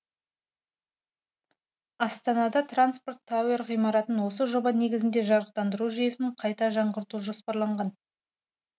астанада транспорт тауэр ғимаратын осы жоба негізінде жарықтандыру жүйесін қайта жаңғырту жоспарланған